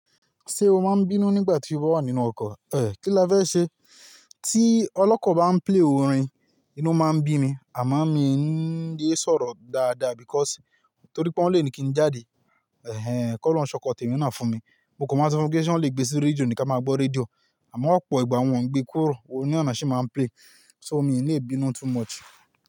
Ṣé o máa ń bínú nígbà tí o bá wà nínú ọkọ̀? Eh, kí lá fẹ́ ṣe? Tí ọlọ́kọ̀ báa ń play orin, inú máa ń bí mi, àmọ́ mi n lé sọ̀rọ̀ dáadáa because torí pé ọ́ n le ní kí n jáde. Eh, kó olọhun se ọkọ tẹ̀mí náà fún mi. Mo kò mọ̀ maa n so wọn pe ṣe wọ́n le gbé sí rédíò ní ká máa gbọ́ rédíò, àmọ́ ọ̀pọ̀ ìgbà wọn ń gbé kúrò, orin nàa naa ṣi máa ń play. So mi ni lè binú too much.